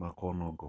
ma kono go